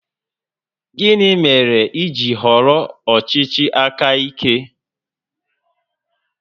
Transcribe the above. Gịnị mere i ji họrọ ọchịchị aka ike?